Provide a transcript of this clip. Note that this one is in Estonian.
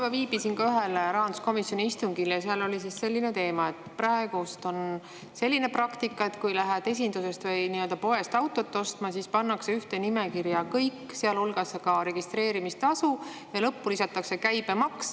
Ma viibisin ka ühel rahanduskomisjoni istungil ja seal oli selline teema, et praegu on selline praktika, et kui lähed esindusest ehk poest autot ostma, siis pannakse ühte loetellu kõik, sealhulgas registreerimistasu, ja lõppu lisatakse käibemaks.